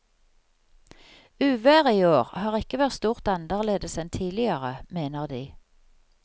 Uværet i år har ikke vært stort annerledes enn tidligere, mener de.